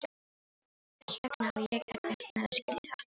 Þess vegna á ég erfitt með að skilja þetta.